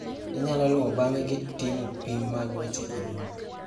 Inyalo luwo bang'e gi timo pim mag weche anyuola.